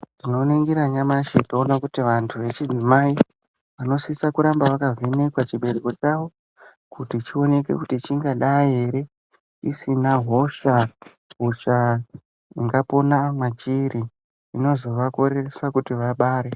Tinoningira nyamushi toona kuti vantu vechidzumai vanosise kuramba vakavhenekwa chibereko chawo kuti chioneke kuti chingadai ere chisina hosha hosha ingapona mwachiri inozovakoreresa kuti vabare.